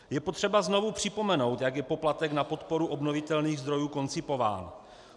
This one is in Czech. Je potřeba znovu připomenout, jak je poplatek na podporu obnovitelných zdrojů koncipován.